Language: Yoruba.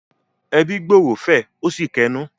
“Ẹbí gbòòrò” fẹ̀ ó sì kẹnú.